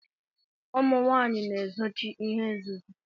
Ụmụnwanyi na ezochi ihe nzuzo.